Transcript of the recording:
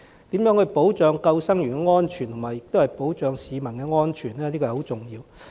因此，如何保障救生員的安全，又同時保障市民的安全，這是十分重要的。